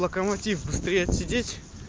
локомотив быстрее отсидеть